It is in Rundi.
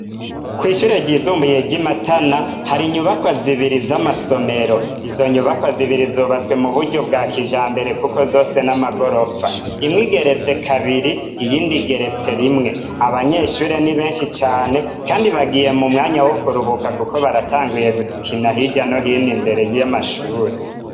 Kw'ishure ryisumbuye ry'imatana hari inyubakwa zibiri z'amasomero izo nyubakwa zibiri zubatswe mu buryo bwa kijambere kuko zose n'amagorofa imwe igeretse kabiri iyindi igeretse rimwe abanyeshure ni benshi cane kandi bagiye mu mwanya wokuruhuka kuko baratanguye gukina hirya no hino imbere y'amashure.